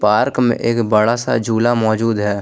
Park में एक बड़ा सा झूला मौजूद है।